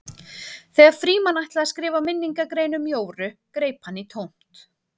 Þegar Frímann ætlaði að skrifa minningargrein um Jóru greip hann í tómt.